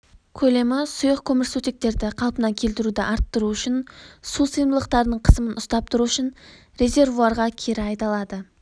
көлемі сұйық көмірсутектерді қалпына келтіруді арттыру үшін сусыйымдылықтарының қысымын ұстап тұру үшін резервуарға кері айдалады